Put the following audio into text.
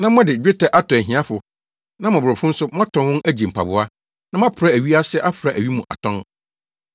na mode dwetɛ atɔ ahiafo na mmɔborɔfo nso moatɔn wɔn agye mpaboa, na moapra awi ase afra awi mu atɔn.